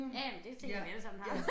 Ja ja men det tænker jeg vi alle sammen har